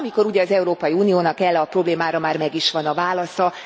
Amikor ugye az Európai Uniónak erre a problémára már meg is van a válasza.